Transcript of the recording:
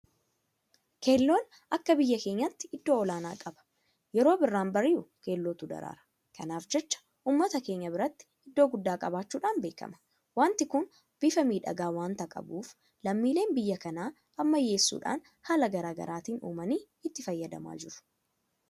Keelloon akka biyya keenyaatti iddoo olaanaa qaba. Yeroo birraan bari'u keellootu daraara. Kanaaf jecha uummata keenya biratti iddoo guddaa qabaachuudhaan beekama. Waanti kun bifa miidhagaa waanta qabuuf lammiileen biyya kanaa ammayyeessuudhaan haala garaagaraatiin uumanii itti fayyadamaa jiru.